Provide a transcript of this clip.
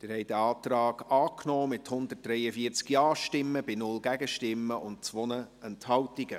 Sie haben diesen Antrag angenommen, mit 143 Ja-Stimmen bei 0 Gegenstimmen und 2 Enthaltungen.